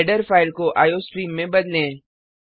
header file को iostream में बदलें